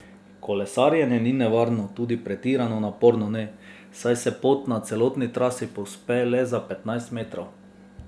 Kolesarjenje ni nevarno, tudi pretirano naporno ne, saj se pot na celotni trasi povzpne le za petnajst metrov.